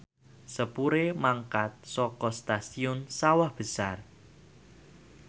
sepure mangkat saka Stasiun Sawah Besar